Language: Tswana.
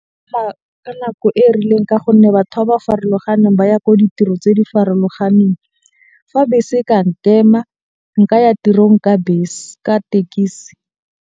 Ka nako e rileng ka gonne batho ba ba farologaneng ba ya ko ditiro tse di farologaneng. Fa bese e ka nkema nka ya tirong ka bese ka tekisi.